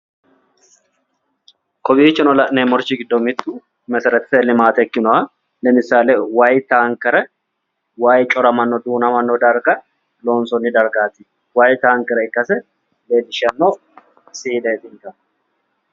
Kowiicho noori giddoonni la'neemmori mittu meseretete limaate ikkinoha, lemisaale wayi taankere way coramannowa duunamannowa loonsoonni dargaati, way taankere ikkase leellishshanno siieetii